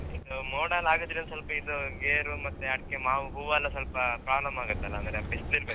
ಹಾ ಇದು ಮೋಡಯೆಲ್ಲಾ ಅಗುದ್ರೆ ಒಂದ್ ಸ್ವಲ್ಪ ಇದು ಗೇರು ಮತ್ತೆ ಅಡ್ಕೆ ಮಾವು ಹೂವೇಲ್ಲಾ ಸ್ವಲ್ಪ problem ಆಗುತ್ತಲ್ಲಾ ಅಂದ್ರೆ ಬಿಸ್ಲಿರ್ಬೇಕಲ್ಲಾ.